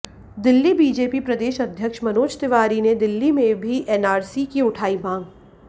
Delhi BJP प्रदेश अध्यक्ष मनोज तिवारी ने दिल्ली में भी एनआरसी की उठाई मांग